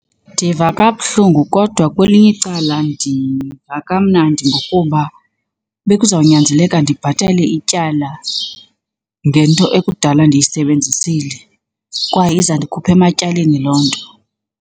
Ndiva kabuhlungu kodwa kwelinye icala ndiva kamnandi ngokuba bekuzawunyanzeleka ndibhatale ityala ngento ekudala ndiyisebenzisile, kwaye iza ndikhupha ematyaleni loo nto.